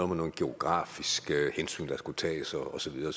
med nogle geografiske hensyn der skulle tages og så videre